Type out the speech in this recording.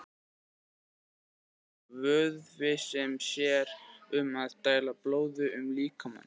Hjartað er vöðvi sem sér um að dæla blóði um líkamann.